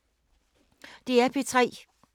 DR P3